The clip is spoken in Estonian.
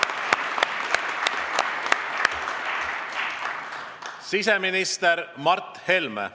Siseminister Mart Helme.